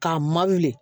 K'a ma de